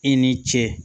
I ni ce